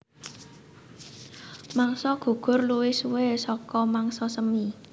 Mangsa gugur luwih suwé saka mangsa semi